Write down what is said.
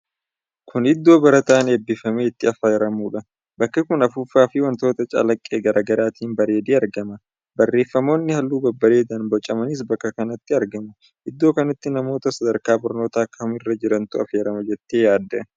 Kuni iddoo barataan eebbifame itti affeeramuudha. bakki kun afuuffaa fi wantoota calaqqee garaa garaatiin bareedee argama. Bareeeffamoonni halluu babbareedaan bocamanis bakkee kanatti argamu. Iddoo kanatti nama sadarkaa barnootaa kamirra jirutu affeerama jettee yaadda?